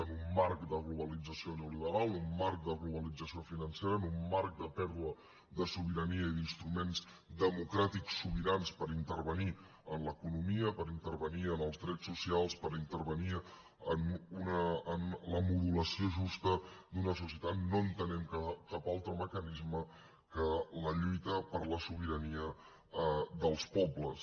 en un marc de globalització neoliberal en un marc de globalització financera en un marc de pèrdua de sobirania i d’instruments democràtics sobirans per intervenir en l’economia per intervenir en els drets socials per intervenir en la modulació justa d’una societat no entenem cap altre mecanisme que la lluita per la sobirania dels pobles